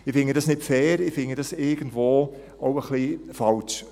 Ich finde das nicht fair, ich finde das irgendwo auch ein wenig falsch.